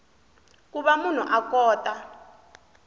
ku va munhu a kota